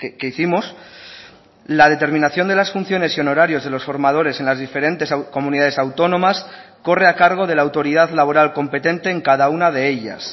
que hicimos la determinación de las funciones y honorarios de los formadores en las diferentes comunidades autónomas corre a cargo de la autoridad laboral competente en cada una de ellas